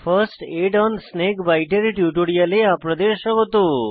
first aid on snake বিতে এর টিউটোরিয়ালে আপনাদের স্বাগত